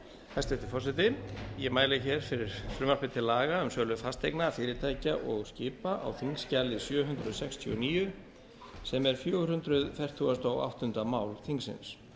hæstvirtur forseti ég mæli hér fyrir frumvarpi til laga um sölu fasteigna fyrirtækja og skipa á þingskjali sjö hundruð sextíu og níu sem er fjögur hundruð fertugasta og áttunda mál þingsins